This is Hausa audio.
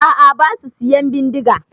A'a basu siyan bindiga.